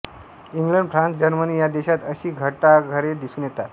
England France Germany या देशांत अशी घंटाघरे दिसून येतात